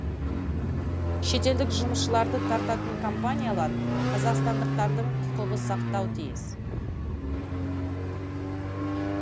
шетелдік жұмысшыларды тартатын компаниялар қазақстандықтардың құқығы сақтауы тиіс